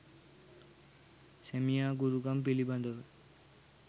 සැමියා ගුරුකම් පිළිබඳව